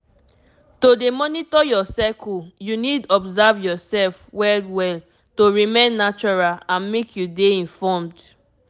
to dey monitor your cycle you need observe yourself well well to remain natural and make you dey informed